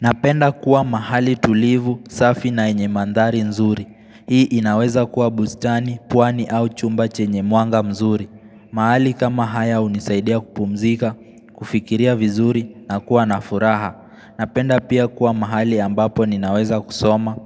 Napenda kuwa mahali tulivu, safi na yenye mandhari nzuri. Hii inaweza kuwa bustani, pwani au chumba chenye mwanga mzuri. Mahali kama haya hunisaidia kupumzika, kufikiria vizuri na kuwa na furaha. Napenda pia kuwa mahali ambapo ninaweza kusoma,